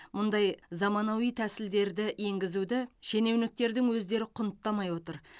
мұндай заманауи тәсілдерді енгізуді шенеуніктердің өздері құнттамай отыр